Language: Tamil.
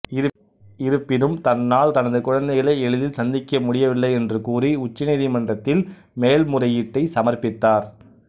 இருப்பினும் தன்னால் தனது குழந்தைகளை எளிதில் சந்திக்க முடியவில்லை என்று கூறி உச்சநீதிமன்றத்தில் மேல்முறையீட்டை சமர்ப்பித்தார்